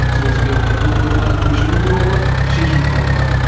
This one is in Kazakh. сол себепті бұл қойманы көшіру туралы шешім қабылдадық